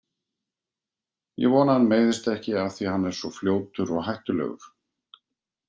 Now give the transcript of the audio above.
Ég vona að hann meiðist ekki af því að hann er svo fljótur og hættulegur.